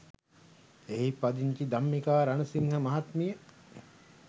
එහි පදිංචි ධම්මිකා රණසිංහ මහත්මිය